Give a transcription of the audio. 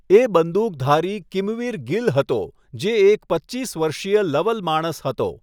એ બંદૂકધારી કિમવીર ગિલ હતો જે એક પચીસ વર્ષીય લવલ માણસ હતો.